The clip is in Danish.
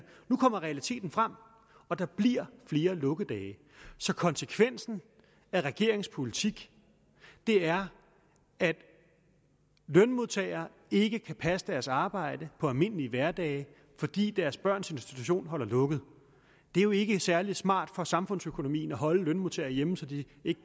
nu kommer realiteten frem og der bliver flere lukkedage så konsekvensen af regeringens politik er at lønmodtagere ikke kan passe deres arbejde på almindelige hverdage fordi deres børns institution holder lukket det er jo ikke særlig smart for samfundsøkonomien at holde lønmodtagere hjemme så de